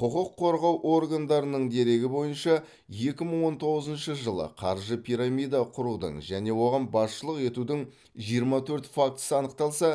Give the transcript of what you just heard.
құқық қорғау органдарының дерегі бойынша екі мың он тоғызыншы жылы қаржы пирамида құрудың және оған басшылық етудің жиырма төрт фактісі анықталса